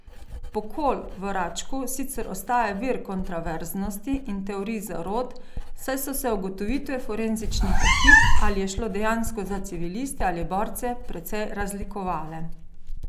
Pokol v Račku sicer ostaja vir kontraverznosti in teorij zarot, saj so se ugotovitve forenzičnih ekip, ali je šlo dejansko za civiliste ali borce, precej razlikovale.